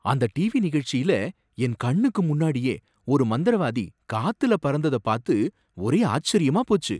அந்த டிவி நிகழ்ச்சியில என் கண்ணுக்கு முன்னாடியே ஒரு மந்திரவாதி காத்துல பறந்தத பாத்து ஒரே ஆச்சரியமா போச்சு.